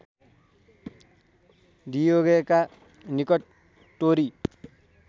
डियेगोका निकट टोरी